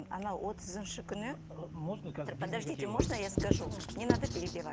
анау отызыншы күні можно я скажу не надо перебивать